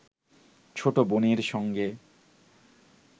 ছোট বোনের সঙ্গে